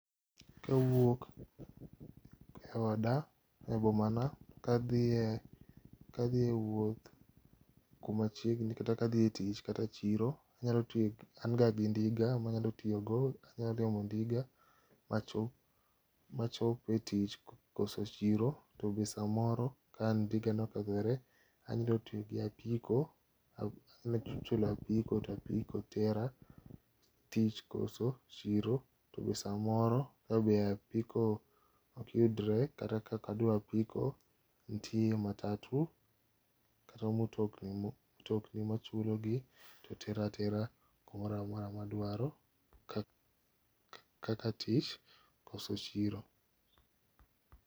Ka awuok e oda e boma na kadhie wuoth kuma chiegni kata ka dhie tich kata chiro anyalo tiyo gi, an ga gi ndiga ma anyalo tiyo go anyalo dhi omo ndiga ma chop e tich koso chiro to bende samoro ka ndiga no okethore anyalo tiyo gi apiko anyalo chulo a piko to a piko tera tich koso chiro to samoro to be a piko ok yudre kata ka ok adwa a piko nitie matatu kata mutokni ma chulo to tera tera ku mora mora ma adwaro kaka tich koso chiro.